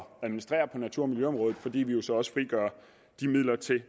administrere på natur og miljøområdet fordi vi jo så også frigør de midler til